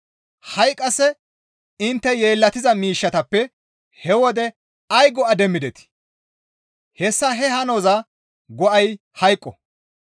ha7i qasse intte yeellatiza miishshatappe he wode ay go7a demmidetii? Hessa he hanozas go7ay hayqo.